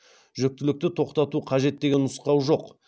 жүктілікті тоқтату қажет деген нұсқау жоқ